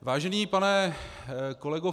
Vážený pane kolego